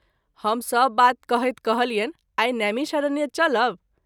हम सभ बात कहैत कहलियनि आई नैमिषारण्य चलब।